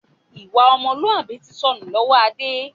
Ìwà ọmọlúwàbí tí sọnù lọ́wọ́ Adé